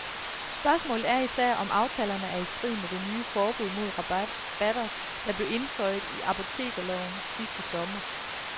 Spørgsmålet er især, om aftalerne er i strid med det nye forbud mod rabatter, der blev indføjet i apotekerloven sidste sommer.